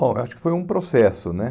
ora, acho que foi um processo, né?